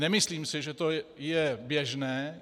Nemyslím si, že to je běžné.